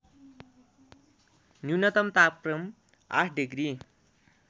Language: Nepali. न्यूनतम तापक्रम ८ डिग्री